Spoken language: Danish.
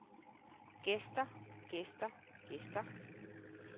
gæster gæster gæster